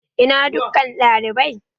Ina dukkan dalibai?